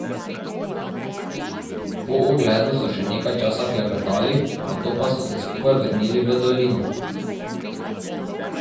Po ogledu so še nekaj časa klepetali, nato pa so se skupaj vrnili v dolino.